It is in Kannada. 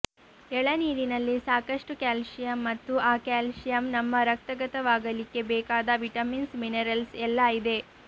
ಎಳನೀರಿನಲ್ಲಿ ಸಾಕಷ್ಟು ಕ್ಯಾಲ್ಶಿಯಂ ಮತ್ತು ಆ ಕ್ಯಾಲ್ಶಿಯಂ ನಮ್ಮ ರಕ್ತಗತವಾಗಲಿಕ್ಕೆ ಬೇಕಾದ ವಿಟಮಿನ್ಸ್ ಮಿನೆರಲ್ಸ್ ಎಲ್ಲಾ ಇದೆ